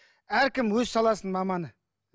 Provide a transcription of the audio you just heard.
әркім өз саласының маманы